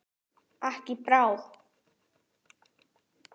Ekki í bráð.